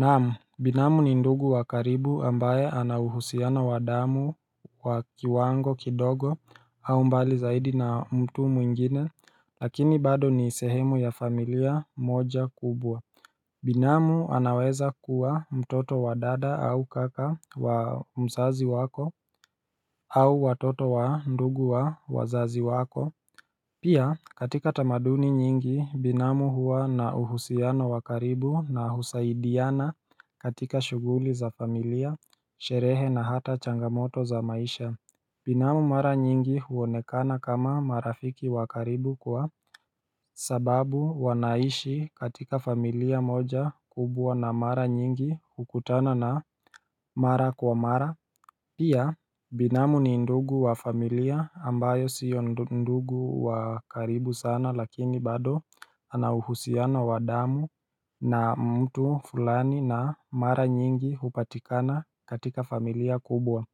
Naamu binamu ni ndugu wa karibu ambaye anauhusiona wa damu wakiwango kidogo au mbali zaidi na mtu mwingine lakini bado ni sehemu ya familia moja kubwa Binamu anaweza kuwa mtoto wa dada au kaka wa mzazi wako au watoto wa ndugu wa wazazi wako Pia katika tamaduni nyingi binamu huwa na uhusiano wa karibu na husaidiana katika shughuli za familia, sherehe na hata changamoto za maisha Binamu mara nyingi huonekana kama marafiki wakaribu kwa sababu wanaishi katika familia moja kubwa na mara nyingi hukutana na mara kwa mara Pia binamu ni ndugu wa familia ambayo sio ndugu wa karibu sana lakini bado anauhusiano wa damu na mtu fulani na mara nyingi hupatikana katika familia kubwa